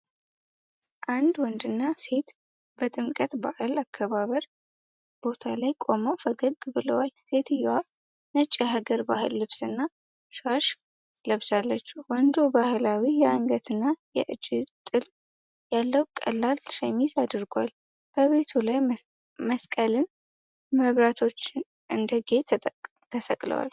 አንድ ወንድና ሴት በጥምቀት በዓል አከባበር ቦታ ላይ ቆመው ፈገግ ብለዋል። ሴትየዋ ነጭ የሐገር ባህል ልብስና ሻሽ ለብሳለች። ወንዱ ባህላዊ የአንገትና የእጅጌ ጥልፍ ያለው ቀላል ሸሚዝ አድርጓል። በቤቱ ላይ መስቀልና መብራቶች እንደ ጌጥ ተሰቅለዋል።